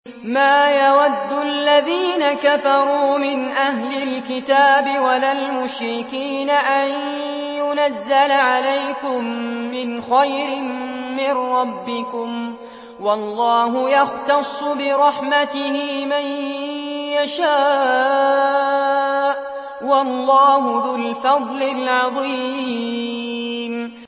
مَّا يَوَدُّ الَّذِينَ كَفَرُوا مِنْ أَهْلِ الْكِتَابِ وَلَا الْمُشْرِكِينَ أَن يُنَزَّلَ عَلَيْكُم مِّنْ خَيْرٍ مِّن رَّبِّكُمْ ۗ وَاللَّهُ يَخْتَصُّ بِرَحْمَتِهِ مَن يَشَاءُ ۚ وَاللَّهُ ذُو الْفَضْلِ الْعَظِيمِ